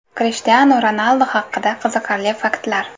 Krishtianu Ronaldu haqida qiziqarli faktlar.